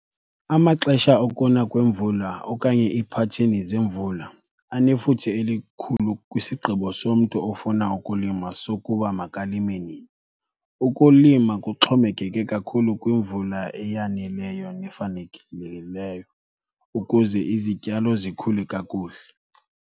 Amaxesha okuna kwemvula okanye iiphatheni zemvula anefuthe elikhulu kwisigqibo somntu ofuna ukulima sokuba makalime nini. Ukulima kuxhomekeke kakhulu kwimvula eyaneleyo nefanelekileyo ukuze izityalo zikhule kakuhle.